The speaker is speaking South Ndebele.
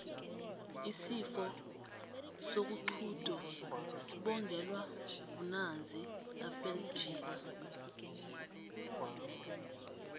isifo sokuxhudo sibongelwa bnanzi afeljila